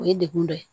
O ye degun dɔ ye